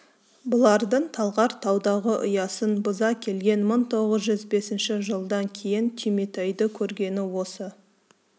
бұлардың талғар таудағы ұясын бұза келген мың тоғыз жүз бесінші жылдан кейін түйметайды көргені осы